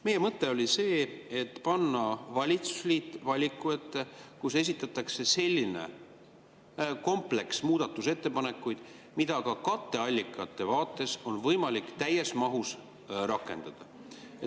Meie mõte oli see, et panna valitsusliit valiku ette, kus esitatakse selline kompleks muudatusettepanekuid, mida ka katteallikate vaates on võimalik täies mahus rakendada.